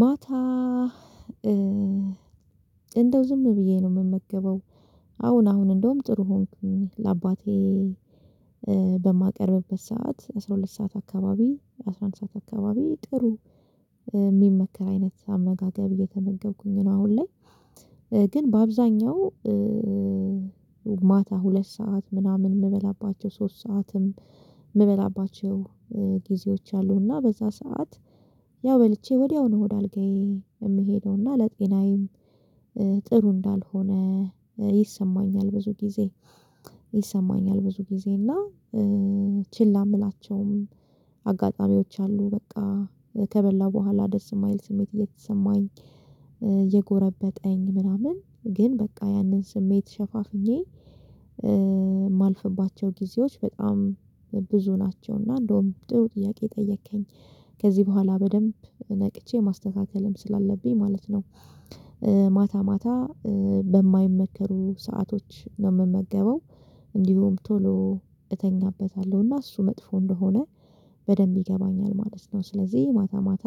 ማታ እንደው ዝም ብዬ ነው የምመገበው። አሁን አሁን እንደውም ጥሩ ሆንኩኝ ለአባቴ በማቀርብበት ሰዓት አስራ ሁለት ሰዓት አካባቢ አስራ አንድ ሰዓት አካባቢ ጥሩ የምመገብ አይነት አመጋገብ እየተመገብኩኝ ነው። አሁን ላይ ግን በአብዛኛው ማታ ሁለት ሰዓት ምናምን የምበላባቸው ሶስት ሰዓትም የምበላባቸው ጊዜዎች አሉና በዛ ሰዓት ያው በልቼ ወዲያውኑ ሆድ አልጋዬ የምሄደውና ለጤናዬም ጥሩ እንዳልሆነ ይሰማኛል። ብዙ ጊዜ ይሰማኛል ብዙ ጊዜ እና ችላ የምላቸውም አጋጣሚዎች አሉ በቃ ከበላ በኋላ ደስ የማይል ስሜት እየተሰማኝ የጎረበጠኝ ምናምን ግን በቃ ያንን ስሜት ሸፋፍኜ የማልፍባቸው ጊዜዎች በጣም ብዙ ናቸው። እና እንደውም ጥሩ ጥያቄ ጠየከኝ ከዚህ በኋላ በደንብ ነቅቼ ማስተካከልም ስላለብኝ ማለት ነው። ማታ ማታ በማይመከሩ ሰአቶች ነው የምመገበው እንዲሁም ቶሎ እተኛበታለሁ እና እሱ መጥፎ እንደሆነ በደንብ ይገባኛል ማለት ነው። ስለዚህ ማታ ማታ